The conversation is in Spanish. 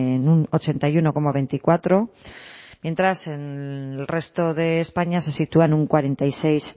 en un ochenta y uno coma veinticuatro mientras en el resto de españa se sitúa en un cuarenta y seis